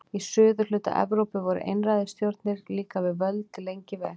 Í suðurhluta Evrópu voru einræðisstjórnir líka við völd lengi vel.